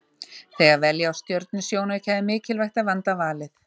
Þegar velja á stjörnusjónauka er mikilvægt að vanda valið.